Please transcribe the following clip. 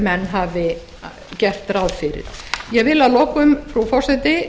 menn gerðu ráð fyrir ég lýsi að lokum frú forseti